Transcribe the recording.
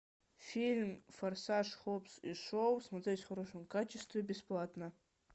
фильм форсаж хоббс и шоу смотреть в хорошем качестве бесплатно